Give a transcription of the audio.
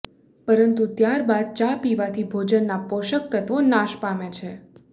પરંતુ ત્યારબાદ ચા પીવાથી ભોજનના પોષક તત્વો નાશ પામે છે